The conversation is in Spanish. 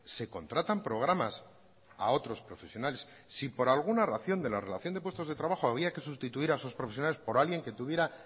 se contratan programas a otros profesionales si por alguna razón de la relación de puestos de trabajo había que sustituir a esos profesionales por alguien que tuviera